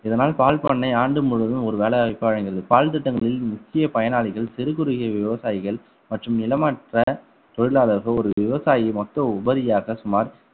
இதனால் பால் பண்ணை ஆண்டு முழுவதும் ஒரு வேலை வாய்ப்பை வழங்கியுள்ளது பால் திட்டங்களில் முக்கிய பயனாளிகள் சிறு குறுகிய விவசாயிகள் மற்றும் நிலமற்ற தொழிலாளர்கள் ஒரு விவசாயி மட்டும் உபரியாக சுமார்